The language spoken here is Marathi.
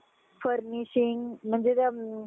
furnishing म्हणजे